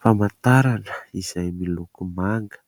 Famantarana izay miloko manga,